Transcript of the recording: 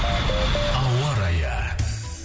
ауа райы